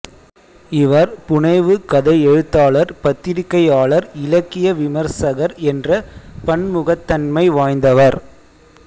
இவர் புனைவு கதை எழுத்தாளர் பத்திரிக்கையாளர் இலக்கிய விமர்சகர் என்ற பன்முகத்தன்மை வாய்ந்தவர்